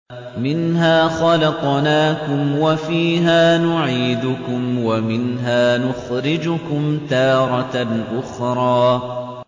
۞ مِنْهَا خَلَقْنَاكُمْ وَفِيهَا نُعِيدُكُمْ وَمِنْهَا نُخْرِجُكُمْ تَارَةً أُخْرَىٰ